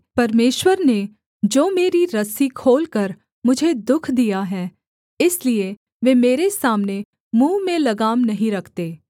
परमेश्वर ने जो मेरी रस्सी खोलकर मुझे दुःख दिया है इसलिए वे मेरे सामने मुँह में लगाम नहीं रखते